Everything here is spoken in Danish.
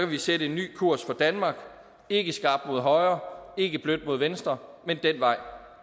vi sætte en ny kurs for danmark ikke skarpt mod højre ikke blødt mod venstre men den vej